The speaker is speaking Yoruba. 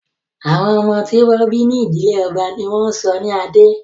Àwọn ọmọ tí wọ́n bí ní ìdílé ọba ní wọ́n ń sọ ní Adé